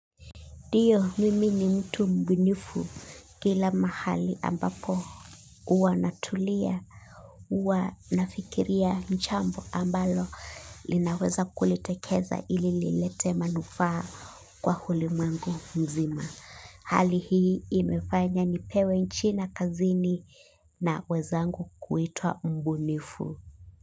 Dio mimi ni mtu mbunifu kila mahali ambapo uwa natulia uwa nafikiria nchambu ambalo linaweza kulitekeza ili lilete manufaa kwa hulimwengu mzima. Hali hii imefanya nipewe china kazini na wezangu kuitwa mbunifu.